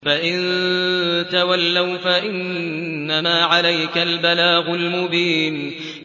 فَإِن تَوَلَّوْا فَإِنَّمَا عَلَيْكَ الْبَلَاغُ الْمُبِينُ